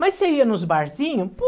Mas você ia nos barzinhos,